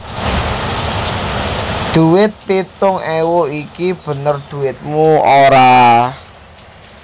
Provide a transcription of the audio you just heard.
Dhuwit pitung ewu iki bener dhuwitmu ora